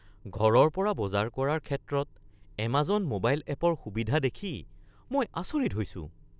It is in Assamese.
ঘৰৰ পৰা বজাৰ কৰাৰ ক্ষেত্ৰত এমাজন ম'বাইল এপৰ সুবিধা দেখি মই আচৰিত হৈছো।